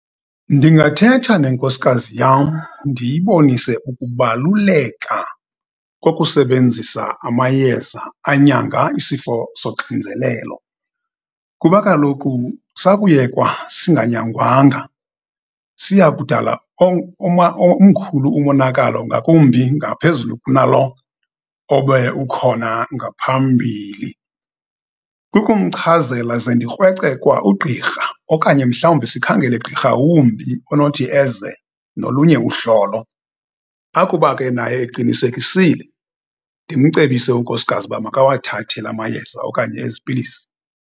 Ndingathetha nenkosikazi yam, ndiyibonise ukubaluleka kokusebenzisa amayeza anyanga isifo zoxinzelelo, kuba kaloku sakuyekwa singanyangangwa siya kudala omkhulu umonakalo, ngakumbi ngaphezulu kunalo obe ukhona ngaphambili. Kukumchazela, ze ndikrweca kwa ugqirha, okanye mhlawumbi sikhangele gqirha wumbi onothi eze nolunye uhlolo. Akuba ke naye eqinisekisa, ndimcebise unkosikazi uba makawathathe la mayeza okanye ezi pilisi.